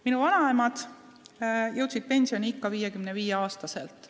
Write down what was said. Minu vanaemad jõudsid pensioniikka 55-aastaselt.